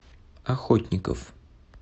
охотников